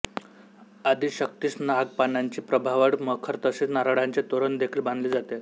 आदिशक्तीस नाग पानांची प्रभावळ मखर तसेच नारळांचे तोरण देखील बांधले जाते